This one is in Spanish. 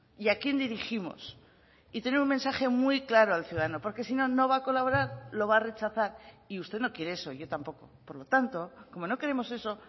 y a quién dirigimos y tener un mensaje muy claro al ciudadano porque si no no va a colaborar lo va a rechazar y usted no quiere eso yo tampoco por lo tanto como no queremos eso